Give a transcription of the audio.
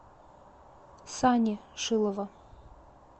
сани шилова